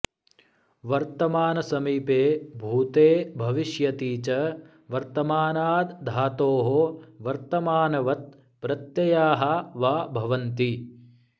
वर्तमानसमीपे भूते भविष्यति च वर्तमानाद् धातोः वर्तमानवत् प्रत्यया वा भवन्ति